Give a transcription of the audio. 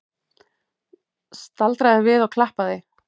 Staldraði við og klappaði!